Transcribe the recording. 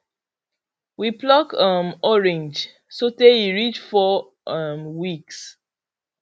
we pluck um orange so tay e reach four um weeks